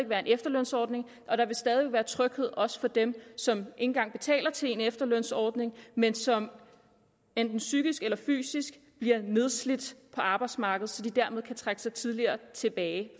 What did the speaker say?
være en efterlønsordning og der vil stadig væk være tryghed også for dem som engang betaler til en efterlønsordning men som enten psykisk eller fysisk bliver nedslidt på arbejdsmarkedet så de kan trække sig tidligere tilbage